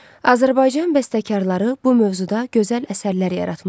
Azərbaycan bəstəkarları bu mövzuda gözəl əsərlər yaratmışlar.